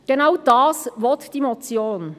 Genau dies will die Motion.